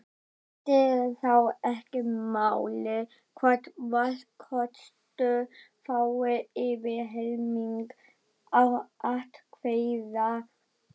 Skiptir þá ekki máli hvort valkostur fái yfir helming atkvæða.